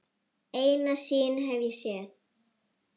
Eina sýn hef ég séð.